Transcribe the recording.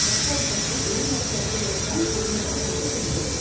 ரஷ்யாவை பற்றி எதிர்மறை கருத்துக்களை தான் கொள்ளுவர் என்று தெரிகிறது